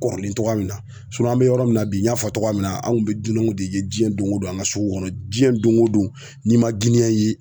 Kɔrɔlen togoya min na an bɛ yɔrɔ min na bi n y'a fɔ togoya min na an kun bɛ dunan de ye jiɲɛ don ko don an ka sugu kɔnɔ diɲɛ don o don n'i ma ye